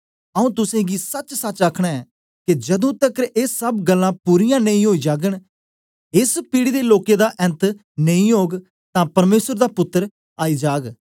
आऊँ तुसेंगी सचसच आखना ऐं के जदू तकर ए सब गल्लां पूरीयां नेई ओई जागन एस पीढ़ी दे लोकें दा ऐन्त नेई ओग तां परमेसर दा 8 पुत्तर आई जाग